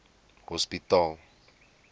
hospitaal